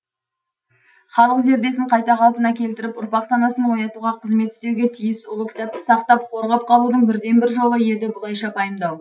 халық зердесін қайта қалпына келтіріп ұрпақ санасын оятуға қызмет істеуге тиіс ұлы кітапты сақтап қорғап қалудың бірден бір жолы еді бұлайша пайымдау